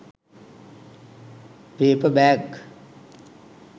paper bag